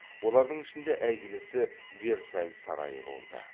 олардың ішінде әйгілісі версаль сарайы болды